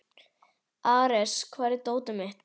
Ares, hvar er dótið mitt?